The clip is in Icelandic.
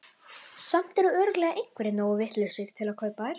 Samt eru örugglega einhverjir nógu vitlausir til að kaupa þær.